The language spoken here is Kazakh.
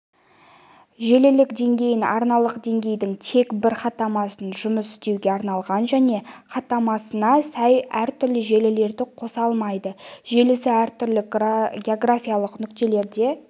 желілік деңгей арналық деңгейдің тек бір хаттамасымен жұмыс істеуге арналған және хаттамасына сай әртүрлі желілерді қоса алмайды желісі әртүрлі географиялық нүктелерде